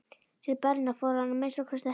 Til Berlínar fór hann að minnsta kosti ekki.